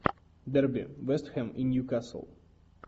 дерби вест хэм и ньюкасл